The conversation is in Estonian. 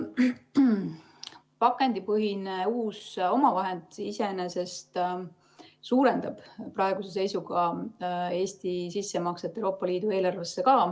Pakendipõhine uus omavahend iseenesest suurendab praeguse seisuga Eesti sissemakset Euroopa Liidu eelarvesse.